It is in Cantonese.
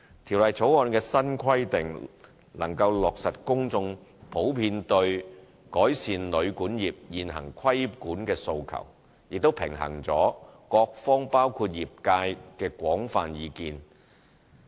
《條例草案》的新規定能落實公眾普遍對改善旅館業現行規管的訴求，亦平衡了各方包括業界的廣泛意見。